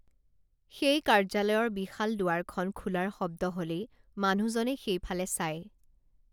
সেই কাৰ্য্যালয়ৰ বিশাল দুৱাৰখন খোলাৰ শব্দ হলেই মানুহজনে সেইফালে চায়